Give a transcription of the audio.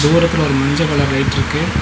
தூரத்துல ஒரு மஞ்ச கலர் லைட்ருக்கு .